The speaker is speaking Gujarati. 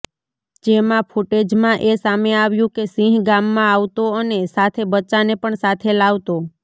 જેમાં ફૂટેજમાં એ સામે આવ્યું કે સિંહ ગામમાં આવતો અને સાથે બચ્ચાને પણ સાથે લાવતો